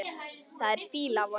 Það er fýla af honum.